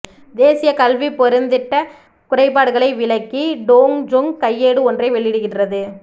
தேசியக் கல்விப் பெருந்திட்டக் குறைபாடுகளை விளக்கி டோங் ஜொங் கையேடு ஒன்றை வெளியிடுகின்றது